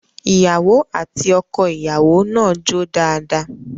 Ìyàwó àti ọkọìyàwó náà jó dáadáa